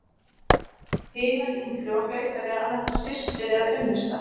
Hin var yngri og hlaut að vera annað hvort systir eða unnusta.